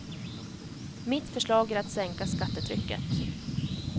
Mitt förslag är att sänka skattetrycket.